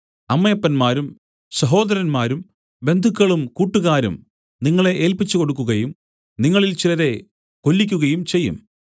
അമ്മയപ്പന്മാരും സഹോദരന്മാരും ബന്ധുക്കളും കൂട്ടുകാരും നിങ്ങളെ ഏല്പിച്ചുകൊടുക്കുകയും നിങ്ങളിൽ ചിലരെ കൊല്ലിക്കുകയും ചെയ്യും